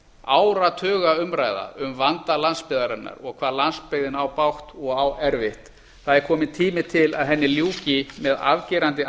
áratuga umræða um vanda landsbyggðarinnar og hvað landsbyggðin á bágt og á erfitt það er kominn tími til að henni ljúki með afgerandi